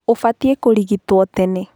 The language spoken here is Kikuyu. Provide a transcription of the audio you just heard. Ũbatiĩ kũrigitwo tene.